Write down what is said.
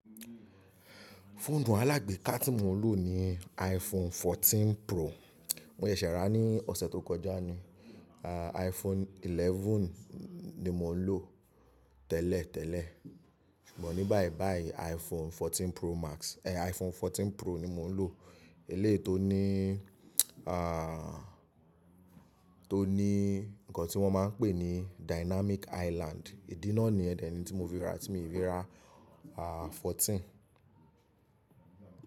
Fóònù alágbèéká tí mo ń lò ni iPhone 14 Pro. Mó yè ṣẹ̀ rá ní ọ̀sẹ̀ tó kọjá ni. iPhone 11 ni mò ń lò tẹ́lẹ̀ tẹ́lẹ̀, ṣùgbọ́n ní báyìí báyìí iPhone 14 Pro ni mò ń lò. Eléyii to ní, tó ní ǹkan tí wọ́n máa ń pè ní dynamic island. Ìdínà ni ẹdẹ ni tí mo fi rà tí mo fi rà 14.